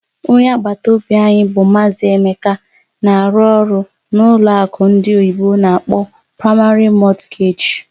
Onye agbata obi anyị bụ Maazị Emeka na-arụ ọrụ na ụlọ akụ ndị oyibo n'akpọ "Primary Mortgage",